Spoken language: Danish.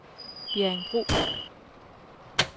Bjerringbro